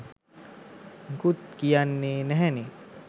මුකුත් කියන්නේ නැහැනේ?